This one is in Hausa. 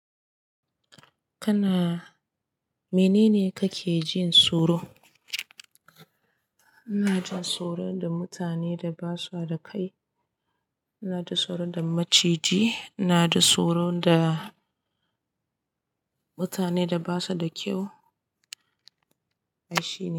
Kana-- mene ne ka ke jin tsoro? Ina ji tsoro da mutane da ba sua da kai, ina ji tsoro da maciji, na ji tsoro da mutane da ba su da kyau. Shi ne.